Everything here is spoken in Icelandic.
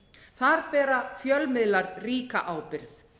þar bera fjölmiðlar ríka ábyrgð